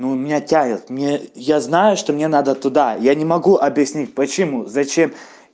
ну меня тянет мне я знаю что мне надо туда я не могу объяснить почему зачем